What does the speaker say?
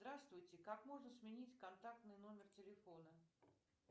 здравствуйте как можно сменить контактный номер телефона